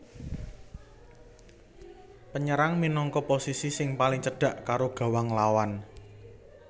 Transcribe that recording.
Penyerang minangka posisi sing paling cedhak karo gawang lawan